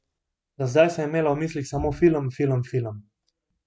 Do zdaj sem imela v mislih samo film, film, film.